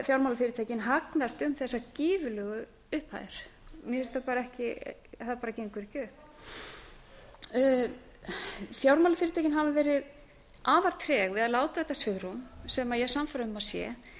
fjármálafyrirtækin hagnast um þessar gífurlegu upphæðir það bara gengur ekki upp fjármálafyrirtækin hafa verið afar treg við að láta þetta svigrúm sem ég er sannfærð um að sé